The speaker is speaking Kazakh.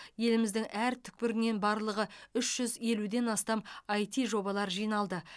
еліміздің әр түкпірінен барлығы үш жүз елуден астам іт жобалар жиналды